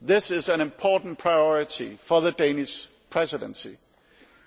This is an important priority for the Danish Presidency